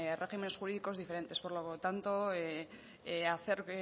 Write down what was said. regímenes jurídicos diferentes por lo tanto